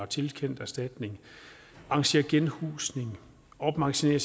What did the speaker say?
tilkendt erstatning arrangeret genhusning opmagasineret